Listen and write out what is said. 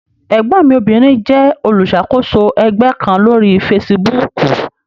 Ẹ̀gbọ́n mi obìnrin jẹ́ olùṣàkóso ẹgbẹ́ kan lórí fesibúùkù.